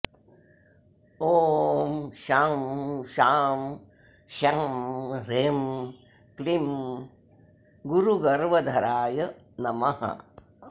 ॐ शं शां षं ह्रीं क्लीं गुरुगर्वधराय नमः